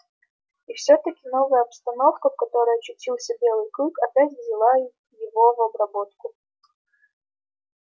и всё-таки новая обстановка в которой очутился белый клык опять взяла его в обработку